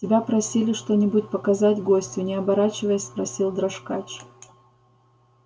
тебя просили что-нибудь показать гостю не оборачиваясь спросил дрожкач